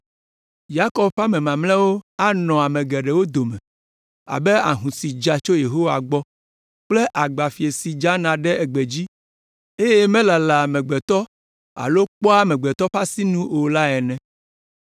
Yakob ƒe ame mamlɛawo anɔ ame geɖewo dome abe ahũ si dza tso Yehowa gbɔ kple agbafie si dzana ɖe gbe dzi, eye melalaa amegbetɔ alo kpɔa amegbetɔ ƒe asinu o la ene.